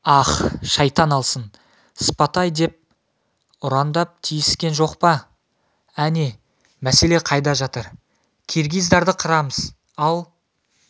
ах шайтан алсын спатай деп ұрандап тиіскен жоқ па әне мәселе қайда жатыр киргиздарды қырамыз ал